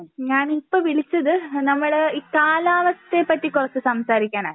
ഞാനിപ്പോ വിളിച്ചത് നമ്മള് ഈ കാലാവസ്ഥയെ പറ്റി കുറച്ച് സംസാരിക്കാനാ